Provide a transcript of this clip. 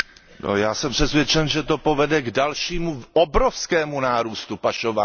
Já jsem přesvědčen, že to povede k dalšímu obrovskému nárůstu pašování.